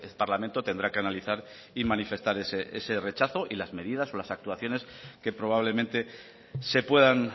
parlamento tendrá que analizar y manifestar ese rechazo y las medidas o las actuaciones que probablemente se puedan